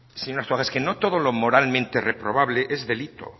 señor arzuaga es que no todo lo moralmente reprobable es delito